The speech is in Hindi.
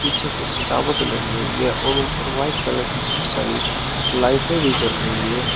पीछे कुछ सजावट लगी हुई है और ऊपर व्हाइट कलर की बहोत सारी लाइटें भी जल रही है।